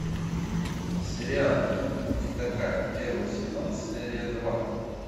сериал не такая первый сезон серия два